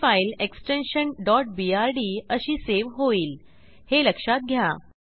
ही file extension brd अशी save होईल हे लक्षात घ्या